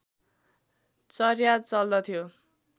चर्या चल्दथ्यो